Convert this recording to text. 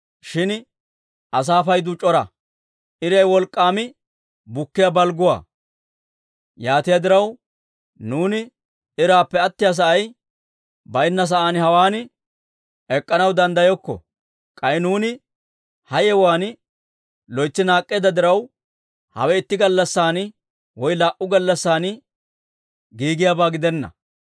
Shin asaa paydu c'ora; iray wolk'k'aam bukkiyaa balgguwaa. Yaatiyaa diraw, nuuni iraappe attiyaa sa'ay baynna sa'aan hawaan ek'k'anaw danddayokko. K'ay nuuni ha yewuwaan loytsi naak'k'eedda diraw, hawe itti gallassan woy laa"u gallassan giigiyaabaa gidenna.